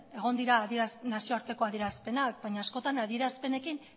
egon dira nazioarteko adierazpenak baina askotan adierazpenekin